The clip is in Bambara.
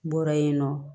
N bɔra yen nɔ